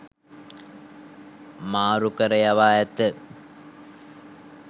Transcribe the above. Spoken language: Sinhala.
මාරුකර යවා ඇත.